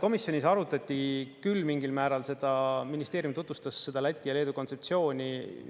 Komisjonis arutati küll mingil määral seda, ministeerium tutvustas Läti ja Leedu kontseptsiooni.